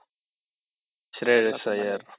Shreyas Iyer